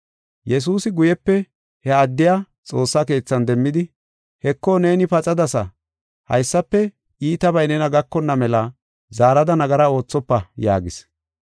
Yesuusi guyepe he addiya xoossa keethan demmidi, “Heko, neeni paxadasa; haysafe iitabay nena gakonna mela zaarada nagara oothofa” yaagis.